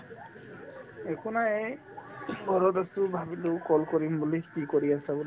একো নাই এই ঘৰত আছো ভাবিলো call কৰিম বুলি কি কৰি আছা বুলি